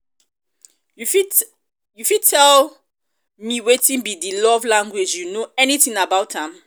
you fit tell you fit tell me wetin be di love language you know anything about am?